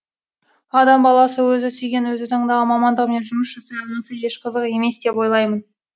адам баласы өзі сүйген өзі таңдаған мамандығымен жұмыс жасай алмаса еш қызық емес деп ойлаймын